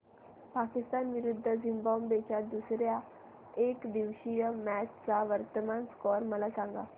पाकिस्तान विरुद्ध झिम्बाब्वे च्या दुसर्या एकदिवसीय मॅच चा वर्तमान स्कोर मला सांगा